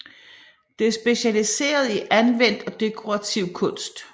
Det er specialiseret i anvendt og dekorativ kunst